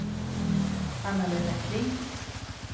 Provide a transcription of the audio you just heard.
Anna-Lena Kling